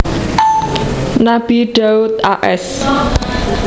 Nabi Daud a s